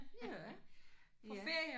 Ja. Ja